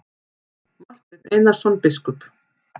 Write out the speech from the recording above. Marteinn Einarsson biskup!